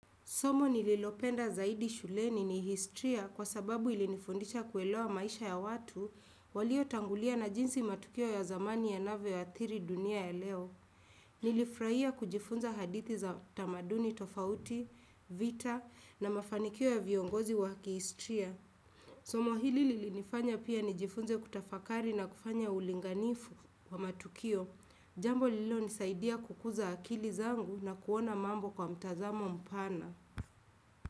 Somo nililopenda zaidi shuleni ni historia kwa sababu ilinifundisha kuelewa maisha ya watu waliotangulia na jinsi matukio ya zamani yanavyoathiri dunia ya leo. Nilifrahia kujifunza hadithi za tamaduni tofauti, vita na mafanikio ya viongozi wa kihistria. Somo hili lilinifanya pia nijifunze kutafakari na kufanya ulinganifu wa matukio. Jambo lililonisaidia kukuza akili zangu na kuona mambo kwa mtazamo mpana.